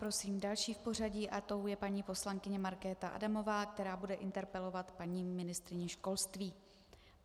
Prosím další v pořadí a tou je paní poslankyně Markéta Adamová, která bude interpelovat paní ministryni školství.